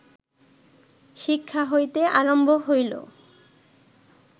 শিক্ষা হইতে আরম্ভ হইল